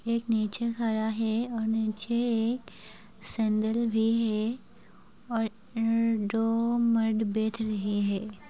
एक नीचे खड़ा है और नीचे एक सेंडिल भी है और उम्म दो मर्द बैठ रहे हैं।